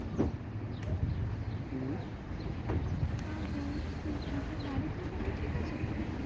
আর বল তুই তোর বাড়িতে সবাই ঠিকাছে তো?